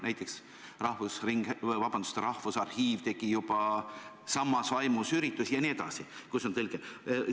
Näiteks, Rahvusarhiiv tegi juba samas vaimus üritusi, kus on tõlge, jne.